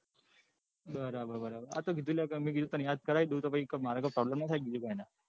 બરાબર બરાબર આતો કીધું તન યાદ કરાવી દઉં તો પહી મારે કોઈ problem નાં થાય બીજું કોઈ ના.